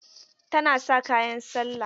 Tana sa kayan sallah.